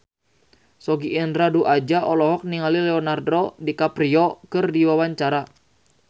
Sogi Indra Duaja olohok ningali Leonardo DiCaprio keur diwawancara